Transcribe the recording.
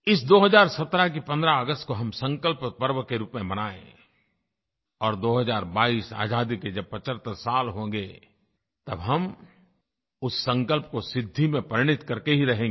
इस 2017 के 15 अगस्त को हम संकल्प पर्व के रूप में मनाएँ और 2022 में आज़ादी के जब 75 साल होंगे तब हम उस संकल्प को सिद्धि में परिणत करके ही रहेंगे